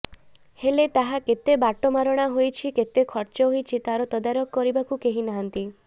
ହେଲେ ତାହା କେତେ ବାଟମାରଣା ହୋଇଛି କେତେ ଖର୍ଚ୍ଚ ହୋଇଛି ତାର ତଦାରଖ କରିବାକୁ କେହି ନାହାନ୍ତି